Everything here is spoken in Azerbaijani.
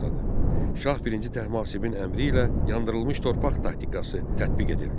Şah I Təhmasibin əmri ilə yandırılmış torpaq taktikası tətbiq edildi.